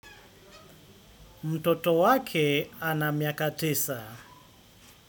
Mtoto wake ana miaka tisa.